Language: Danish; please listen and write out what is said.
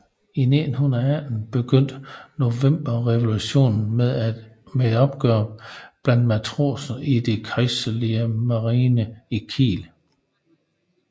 I 1918 begyndte novemberrevolutionen med et oprør blandt matroserne i den kejserlige marine i Kiel